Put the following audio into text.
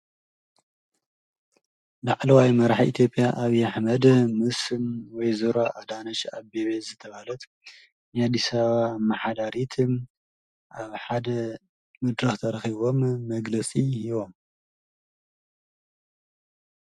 ላዕለዋይ መራሒ ኢትዮጵያ ኣብይ አሕመድ ምስ ወይዘሮ ኣዳንች ኣበቤ ዝተብሃት ናይ አዲስ አበባ አመሓዳሪት ኣብ ሓደ መድረክ ተራኪቦም መግለፂ ሂቦም።